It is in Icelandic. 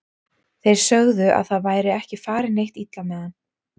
Þeir sögðu að það væri ekki farið neitt illa með hann.